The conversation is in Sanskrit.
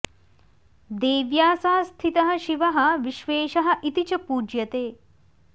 देव्या सह स्थितः शिवः विश्वेशः इति च पूज्यते